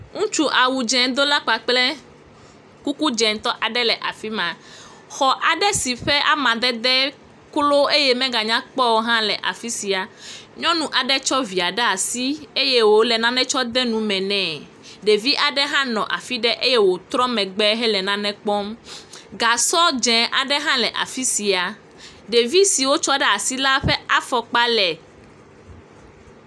Ŋutsu awu dze do la kple kuku dzɛtɔ aɖe le afima. Xɔ adɖsi eƒe amadede klo eye me ga nyakpɔ o hã le afisia. Nyɔnu aɖe tsɔ via ɖe asi eye wole nane tsɔ de enu me ne. Ɖevi aɖe hã nɔ afi ɖe eye wotrɔ megbe he le nane kpɔm. gasɔ dzɛ aɖe hã le ɖe afi sia. Ɖevi si wotsɔ asi hã ƒe afɔkpa…………………..